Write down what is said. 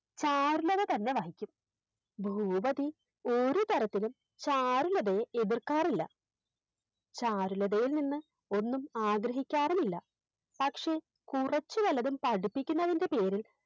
ചാരുലത തന്നെ വഹിക്കും ഭൂപതി ഒരുതരത്തിലും ചാരുലതയെ എതിർക്കാറില്ല ചാരുലതയിൽ നിന്ന് ഒന്നും ആഗ്രഹിക്കാറുമില്ല പക്ഷെ കുറച്ച് വല്ലതും പഠിപ്പിക്കുന്നതിൻറെ പേരിൽ